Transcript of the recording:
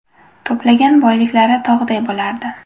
To‘plagan boyliklari tog‘day bo‘lardi.